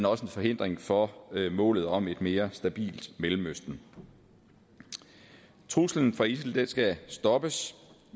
også en forhindring for målet om et mere stabilt mellemøsten truslen fra isil skal stoppes